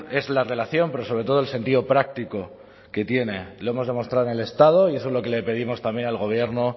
es la relación pero sobre todo el sentido práctico que tiene lo hemos demostrado en el estado y eso es lo que le pedimos también al gobierno